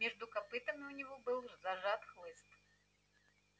между копытами у него был зажат хлыст